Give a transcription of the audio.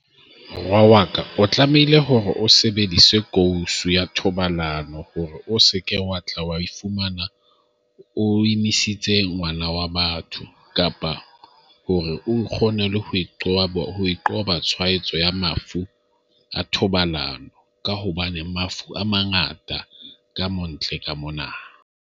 Wa waka o tlamehile hore o sebedise kousu ya thobalano hore o se ke wa ifumana o emisitse ngwana wa batho kapa hore o kgone ho qoba ho qoba tshwaetso ya mafu a thobalano ka hobane mafu a mangata ka mo ntle ka mona.